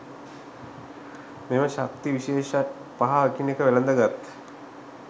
මෙම ශක්ති විශේෂ පහ එකිනෙක වැලඳගත්